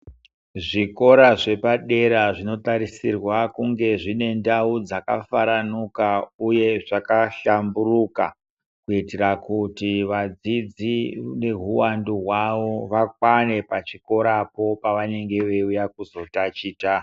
Zvikora zvepadera zvinotarisirwa kunge zvine ndau dzakafaranuka uye zvakahlamburuka kuitira kuti vadzidzi nehuwandu hwavo vakwane pachikora po pavanonga veiuya kuzotachita.